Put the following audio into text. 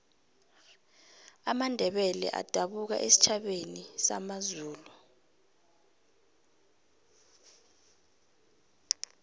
amandebele adabuka esitjhabeni samazulu